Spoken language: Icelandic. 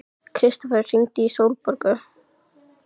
Kristófer, hringdu í Sólborgu.